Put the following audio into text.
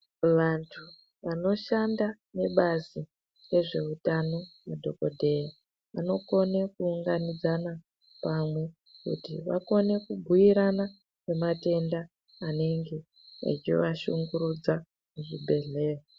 Vantu vanoshanda nebazi rezvehutano, madhokodheya, anokone kuwunganidzana pamwe kuti vakone kubuirana ngematenda anenge echivashungurudza muzvibhedhleya.